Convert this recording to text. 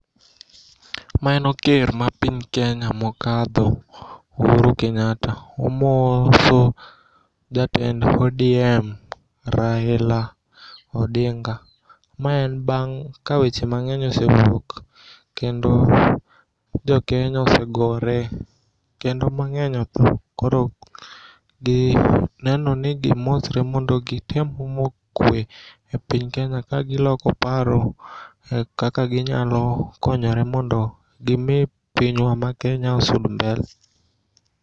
Mano ker mar piny Kenya mokadho Uhuru Kenyatta omoso jatend ODM Raila Odinga. Ma en bang' kaweche mang'eny osewuok kendo jokenya osegore kendo mang'eny otho koro ginenoni gimosre mondo gitem omo kwe e piny Kenya kagiloko paro kaka ginyalokonyore mondo gimii pinywa ma Kenya osong mbele.